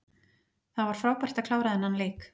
Það var frábært að klára þennan leik.